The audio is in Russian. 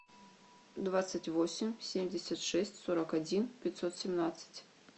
двадцать восемь семьдесят шесть сорок один пятьсот семнадцать